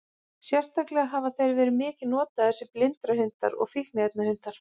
Sérstaklega hafa þeir verið mikið notaðir sem blindrahundar og fíkniefnahundar.